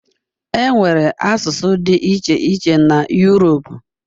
Enwere asụsụ dị iche iche na Uropu.